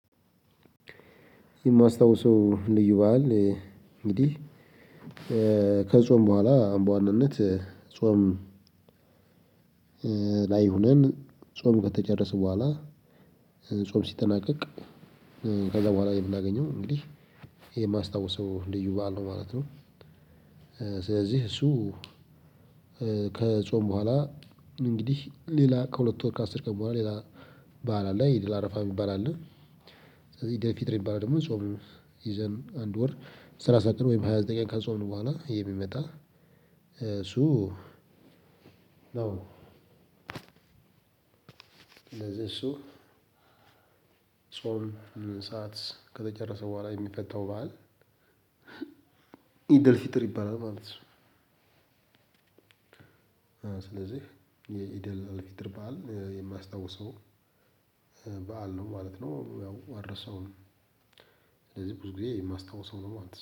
የማስታውሰው ልዩ በዓል እንግዲህ ከጾም በኋላ አሁን በዋናነት ጾም ላይ ሆነን ጾም ከተጨረስን በኋላ ጾም ሲጠናቀቅ ከዛ በኋላ የምናገኘው እንግዲህ ይሄ የማስታውሰው ልዩ በዓል ነው። ማለት ነው። ስለዚህ እሱ ከጾም በኋላ። እንግዲህ ሌላ ከሁለት ወር ከአስር ቀን በኋላ ሌላ በዓል ኤድል አረፋ የሚባል አለ። ስለዚህ ደፊት የሚባል ደግሞ ጾም ይዘን አንድ ወር ስራ ሳቅር ወይም ሃያ ዘጠኝ ቀን ከጾምን በኋላ ይሄ የሚመጣ። እሱ ነው እንደዚህ እሱ ጾም ሰዓት ከተጨረሰ በኋላ የሚፈታው በዓል ኢደል ፊጥር ይባላል ማለት ነው። ስለዚህ የኢደል አል ፈጢር በዓል የማስታውሰው በዓል ነው ማለት ነው ያው አልረሳውም። ስለዚህ ብዙ ጊዜ የማስታውሰው ነው ማለት ነው